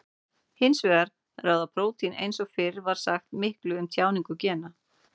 Hins vegar ráða prótín eins og fyrr var sagt miklu um tjáningu gena.